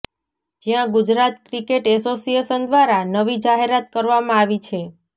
જ્યાં Gujarat cricket association દ્રારા નવી જાહેરાત કરવામાં આવી છે